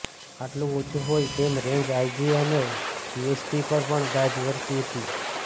આટલું ઓછું હોય તેમ રેંજ આઇજી અને ડીએસપી પર પણ ગાજ વરસી હતી